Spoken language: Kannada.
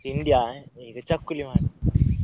ತಿಂಡಿಯಾ ಈಗ ಚಕ್ಕುಲಿ ಮಾತ್ರ.